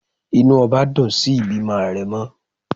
inú obá dun sí ìbímo arémò